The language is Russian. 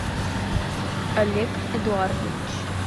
олег эдуардович